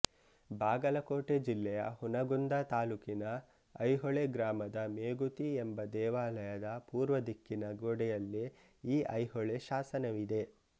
ಬಾಗಲಕೋಟೆ ಜಿಲ್ಲೆಯ ಹುನಗುಂದ ತಾಲೂಕಿನ ಐಹೊಳೆ ಗ್ರಾಮದ ಮೇಗುತಿ ಎಂಬ ದೇವಾಲಯದ ಪೂರ್ವ ದಿಕ್ಕಿನ ಗೋಡೆಯಲ್ಲಿ ಈ ಐಹೊಳೆ ಶಾಸನವಿದೆ